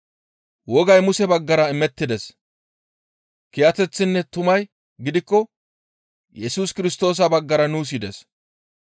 Wogay Muse baggara imettides; kiyateththinne tumay gidikko Yesus Kirstoosa baggara nuus yides.